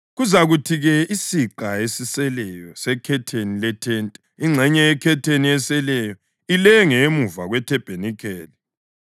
Kuzakuthi-ke isiqa esiseleyo sekhetheni lethente, ingxenye yekhetheni eseleyo, ilenge emuva kwethabanikeli.